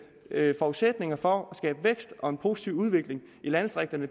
forudsætninger for at skabe vækst og en positiv udvikling i landdistrikterne